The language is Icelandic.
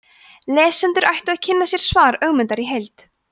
lesendur ættu að kynna sér svar ögmundar í heild